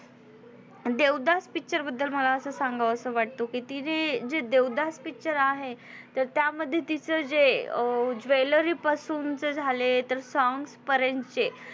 Devdas Picture बद्दल मला असं सांगावस वाटतो कि तिने जे देवदास Picture आहे तर त्यामध्ये तीच जे jewellery पासून चे झाले तर song पर्यंतचे